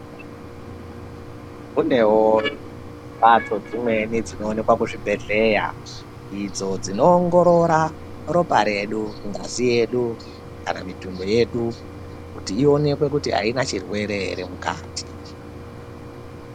Kunewo mhatso dzimweni dzinoonekwa kuzvibhedhlera idzo dzinoongorora ropa redu, ngazi yedu kana mitundo yedu kuti ionekwe kuti aina chirwere ere mukati.